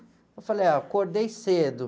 Eu falei, ah, acordei cedo.